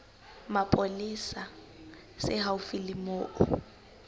mapolesa se haufi le moo